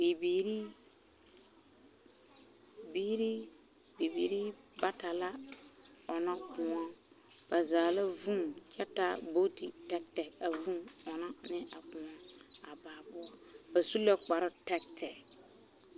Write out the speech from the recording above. Bibiiri biiri bibiiri bata la ɔnna kõɔ ba zaa la vūū kyɛ taa buuti tɛɛtɛɛ a ɔnnɔ ne a kõɔ a baa poɔ ba su la kparre tɛɛtɛɛ.